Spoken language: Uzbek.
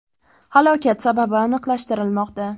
Halokat sababi aniqlashtirilmoqda.